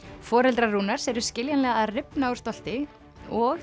foreldrar Rúnars eru skiljanlega að rifna úr stolti og